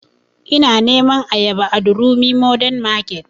Ina neman ayaba a durumi mordern market